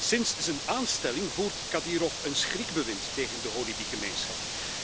Sinds zijn aanstelling voert Kadyrov een schrikbewind tegen de holebi gemeenschap.